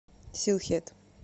силхет